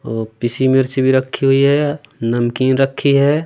ओ पीसी मिर्ची भी रखी हुई है नमकीन रखी है।